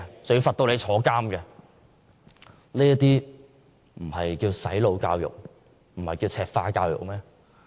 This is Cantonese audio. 這還不算"洗腦"教育和"赤化"教育嗎？